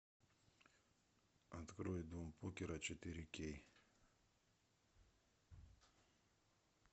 открой дом покера четыре кей